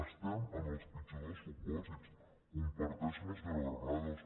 estem en els pitjors dels supòsits ho comparteixo amb la senyora granados